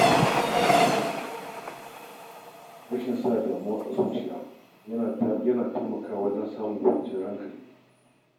Rashin sa damuwa a zuciya ya na taimakawa wajen samun kwanciyar hankali.